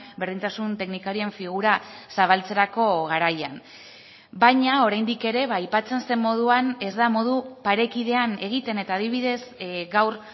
berdintasun teknikarien figura zabaltzerako garaian baina oraindik ere aipatzen zen moduan ez da modu parekidean egiten eta adibidez gaur